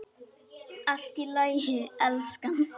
Allt í lagi, elskan.